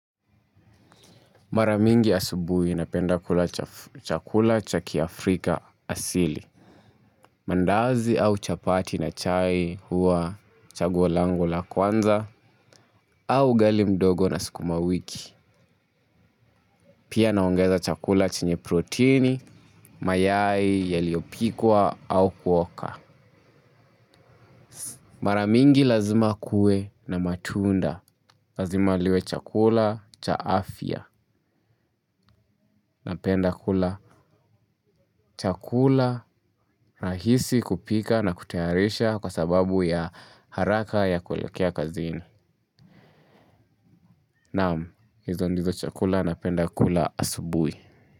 Mara nyingi asubuhi napenda kula chakula cha kiafrika asili. Mandazi au chapati na chai hua chaguo langu la kwanza au ugali mdogo na sukumawiki. Pia naongeza chakula chenye proteini, mayai yaliyopikwa au kuoka. Mara mingi lazima kuwe na matunda. Lazima kiwe chakula cha afya napenda kula chakula rahisi kupika na kutayarisha. Kwa sababu ya haraka ya kuelekea kazini. Naam, hizo ndizo chakula napenda kula asubuhi.